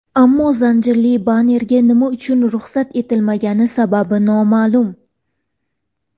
Ammo zanjirli bannerga nima uchun ruxsat etilmagani sababi noma’lum.